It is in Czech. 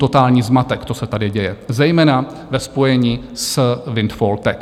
Totální zmatek, co se tady děje, zejména ve spojení s windfall tax.